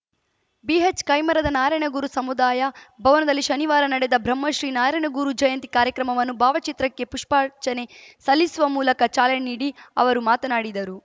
ಬಿಎಚ್‌ಕೈಮರದ ನಾರಾಯಣಗುರು ಸಮುದಾಯ ಭವನದಲ್ಲಿ ಶನಿವಾರ ನಡೆದ ಬ್ರಹ್ಮಶ್ರೀ ನಾರಾಯಣಗುರು ಜಯಂತಿ ಕಾರ್ಯಕ್ರಮವನ್ನು ಭಾವಚಿತ್ರಕ್ಕೆ ಪುಷ್ಚಾರ್ಚನೆ ಸಲ್ಲಿಸುವ ಮೂಲಕ ಚಾಲನೆ ನೀಡಿ ಅವರು ಮಾತನಾಡಿದರು